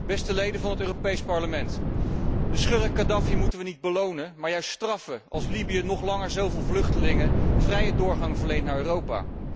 Beste leden van het Europees Parlement, de schurk Khadafi moeten we niet belonen, maar juist straffen, als Libië nog langer zo veel vluchtelingen vrije doorgang verleent naar Europa.